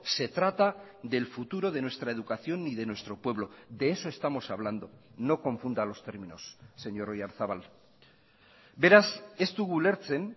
se trata del futuro de nuestra educación y de nuestro pueblo de eso estamos hablando no confunda los términos señor oyarzabal beraz ez dugu ulertzen